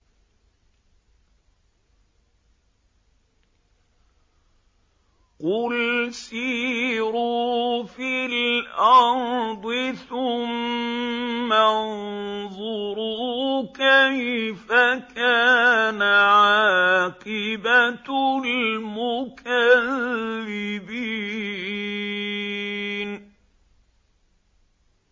قُلْ سِيرُوا فِي الْأَرْضِ ثُمَّ انظُرُوا كَيْفَ كَانَ عَاقِبَةُ الْمُكَذِّبِينَ